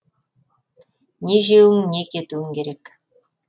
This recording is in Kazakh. не жеуің не кетуің керек